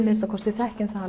minnsta kosti þekkjum það